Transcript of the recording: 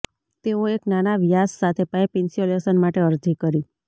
તેઓ એક નાના વ્યાસ સાથે પાઇપ ઇન્સ્યુલેશન માટે અરજી કરી